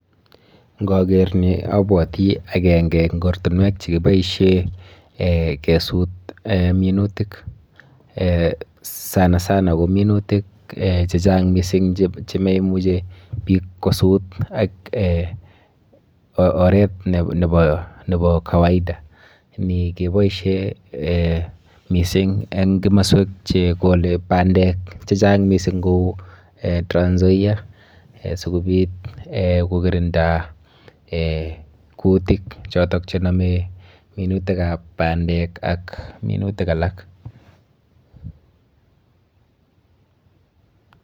Nkaker ni abwoti akenke eng ortinwek chekiboishe eh kesut eh minutik eh sana sana ko minutik eh chechang mising chemeimuchi biik kosut ak eh oret nepo kawaida. Ni keboishe eh mising eng kimaswek chekole bandek chechang mising kou eh Transnzoia sikobit eh kokirinda eh kutik chotok chenome minutikap bandek ak minutik alak.